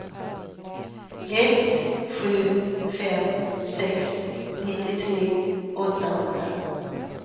ett sju fem sex nittiotre åttahundra